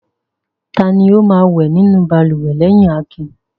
Ta ni ó máa wẹ̀ nínú balùwẹ̀ lẹ́yìn Akin?